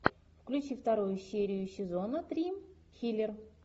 включи вторую серию сезона три хилер